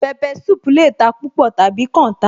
Pepper soup lè ta púpọ̀ tàbí kan ta